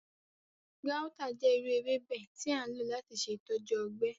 Gauta jẹ iru ewebe ti a lo lati ṣe itọju ọgbẹ.